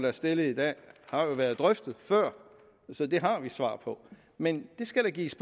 er stillet i dag har været drøftet før så dem har vi svar på men det skal der gives